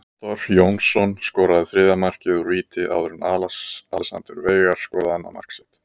Viktor Jónsson skoraði þriðja markið úr víti áður en Alexander Veigar skoraði annað mark sitt.